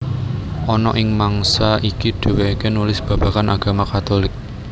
Ana ing mangsa iki dhèwèké nulis babagan agama Katulik